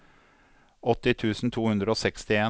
åtti tusen to hundre og sekstien